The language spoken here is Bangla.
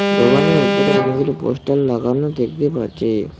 দোকানের উপরে অনেকগুলো পোস্টার লাগানো দেখতে পাচ্ছি।